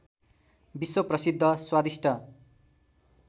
विश्वप्रसिद्ध स्वादिष्ट